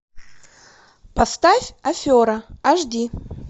поставь афера аш ди